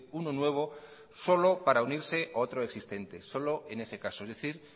uno nuevo solo para unirse a otro existente solo en ese caso es decir